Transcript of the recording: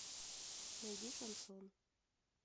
найди шансон